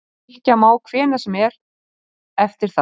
Rykkja má hvenær sem er eftir það.